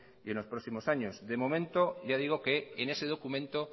y en los próximos años de momento ya digo que en ese documento